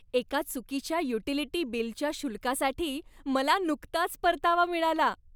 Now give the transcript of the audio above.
एका चुकीच्या युटिलिटी बिलच्या शुल्कासाठी मला नुकताच परतावा मिळाला.